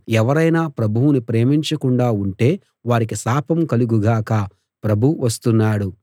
ఎవరైనా ప్రభువును ప్రేమించకుండా ఉంటే వారికి శాపం కలుగు గాక ప్రభువు వస్తున్నాడు